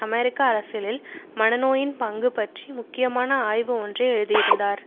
அமெரிக்க அரசியலில் மனநோயின் பங்கு பற்றி முக்கியமான ஆய்வு ஒன்றை எழுதியிருந்தார்